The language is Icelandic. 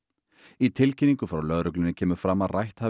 í tilkynningu frá lögreglunni kemur fram að rætt hafi